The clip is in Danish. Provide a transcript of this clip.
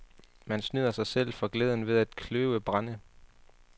Man snyder sig selv for glæden ved at kløve brænde.